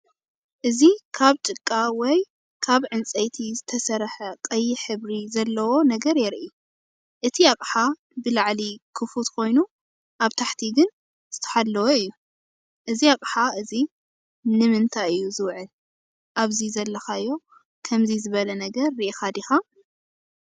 እዚ ካብ ጭቃ ወይ ካብ ዕንፀይቲ ዝተሰርሐ ቀይሕ ሕብሪ ዘለዎ ነገር የርኢ። እቲ ኣቕሓ ብላዕሊ ክፉት ኮይኑ ኣብ ታሕቲ ግን ዝተሓለወ እዩ። እዚ ኣቕሓ እዚ ንእንታይ እዩ ዝውዕል? ኣብዚ ዘለኻዮ ከምዚ ዝበለ ነገር ርኢኻ ዲኻ?